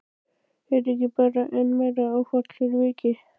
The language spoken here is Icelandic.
Er þetta ekki bara enn meira áfall fyrir vikið?